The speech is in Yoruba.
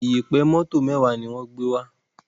Iyẹ̀pẹ̀ moto mẹwa ní wón gbé wá